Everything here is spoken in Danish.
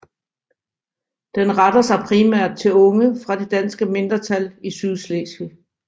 Den retter sig primært til unge fra det danske mindretal i Sydslesvig